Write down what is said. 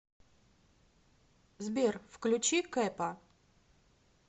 сбер включи кэпа